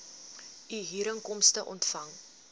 u huurinkomste ontvang